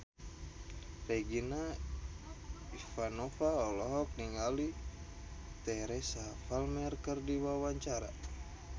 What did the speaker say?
Regina Ivanova olohok ningali Teresa Palmer keur diwawancara